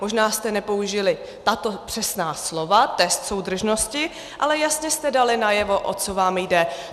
Možná jste nepoužili tato přesná slova "test soudržnosti", ale jasně jste dali najevo, o co vám jde.